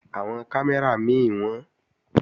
Àwọn kámẹ́rà mí wọ́n